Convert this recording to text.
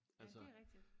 altså